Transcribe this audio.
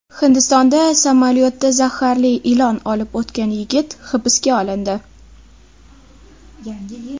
Hindistonda samolyotda zaharli ilon olib o‘tgan yigit hibsga olindi.